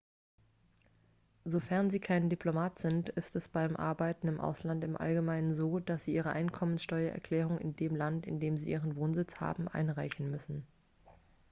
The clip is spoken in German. sofern sie kein diplomat sind ist es beim arbeiten im ausland im allgemeinen so dass sie ihre einkommensteuererklärung in dem land in dem sie ihren wohnsitz haben einreichen müssen